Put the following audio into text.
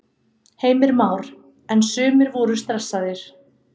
Heimir Már: En sumir voru stressaðir?